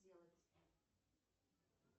делать